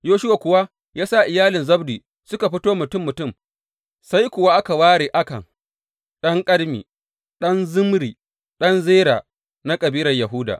Yoshuwa kuwa ya sa iyalin Zabdi suka fito mutum mutum, sai kuwa aka ware Akan ɗan Karmi, ɗan Zimri, ɗan Zera na kabilar Yahuda.